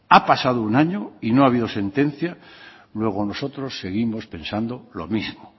ha pasado un año y no ha habido sentencia luego nosotros seguimos pensando lo mismo